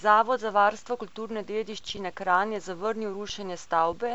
Zavod za varstvo kulturne dediščine Kranj je zavrnil rušenje stavbe,